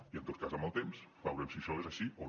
i en tot cas amb el temps veurem si això és així o no